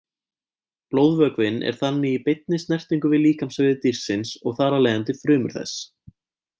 Blóðvökvinn er þannig í beinni snertingu við líkamsvefi dýrsins og þar af leiðandi frumur þess.